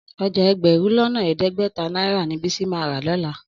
Ọjà ẹgbẹ̀rún lọ́nà ẹ̀ẹ́dẹ́gbẹ̀ta náírà ni Bísí máa rà lọ́la.